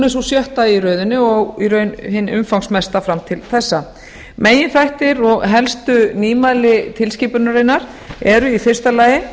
er sú sjötta í röðinni og í raun hin umfangsmesta fram til þessa meginþættir og helstu nýmæli tilskipunarinnar eru í fyrsta lagi